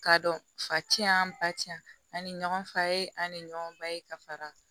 K'a dɔn fa ti yan ba ti yan ani ɲɔgɔn fa ye ani ɲɔgɔn ba ye ka fara